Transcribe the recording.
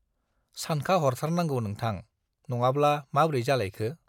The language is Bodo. सानखाहरथारनांगौ नोंथां, नङाब्ला माब्रै जालायखो?